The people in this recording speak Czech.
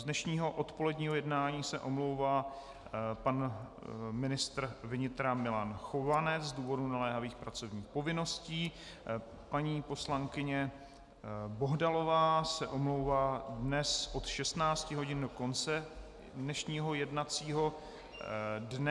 Z dnešního odpoledního jednání se omlouvá pan ministr vnitra Milan Chovanec z důvodu naléhavých pracovních povinností, paní poslankyně Bohdalová se omlouvá dnes od 16 hodin do konce dnešního jednacího dne.